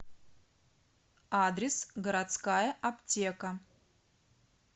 адрес городская аптека